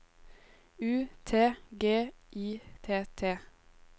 U T G I T T